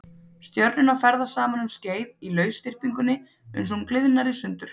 Stjörnurnar ferðast saman um skeið í lausþyrpingunni uns hún gliðnar í sundur.